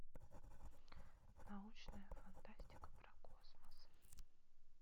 научная фантастика про космос